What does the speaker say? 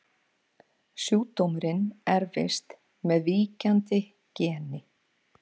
Sjúkdómurinn erfist með víkjandi geni.